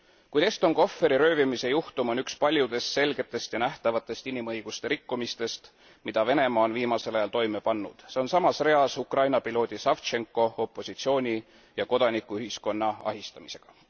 Kuid Eston Kohveri röövimise juhtum on üks paljudest selgetest ja nähtavatest inimõiguste rikkumistest, mida Venemaa on viimasel ajal toime pannud. See on samas reas Ukraina piloodi Savtšenko, opositsiooni ja kodanikuühiskonna ahistamisega.